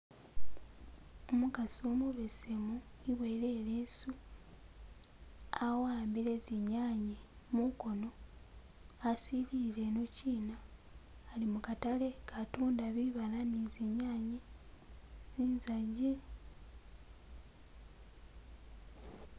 Umukasi umubesemu eboyele ileesu awambile zinyanye mukono asilile inochina ali mukatale akatunda bibaala ni zinyane, zinzagi.